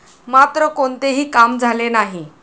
मात्र कोणतेही काम झाले नाही.